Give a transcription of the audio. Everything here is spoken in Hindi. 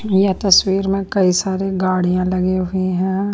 यह तस्वीर में कई सारे गाड़ियाँ लगी हुई है।